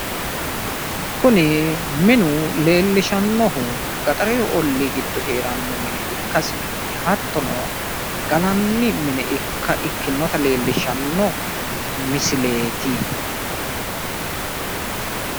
Kuni minu leellishannohu gaxarete ollii giddo heeranno mine ikkasinni, hattono gallanni mine ikkinota leellishshanno misileeti.